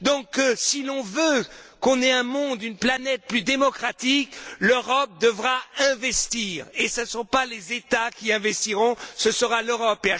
Donc, si l'on aspire à un monde, une planète plus démocratique, l'Europe devra investir, et ce ne sont pas les États qui investiront, ce sera l'Europe.